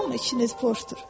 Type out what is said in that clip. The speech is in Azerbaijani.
Amma içiniz boşdur.